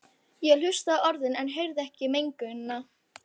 Ég hlustaði á orðin en heyrði ekki meininguna.